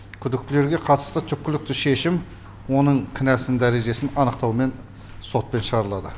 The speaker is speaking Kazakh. күдіктілерге қатысты түкпілікті шешім оның кінәсін дәрежесін анықтаумен сотпен шығарылады